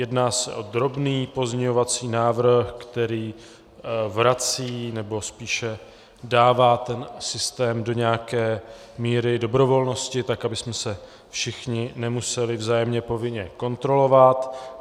Jedná se o drobný pozměňovací návrh, který vrací, nebo spíše dává ten systém do nějaké míry dobrovolnosti, tak abychom se všichni nemuseli vzájemně povinně kontrolovat.